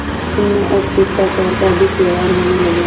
उनमें अब शिष्टाचार का अधिक व्यवहार होने लगा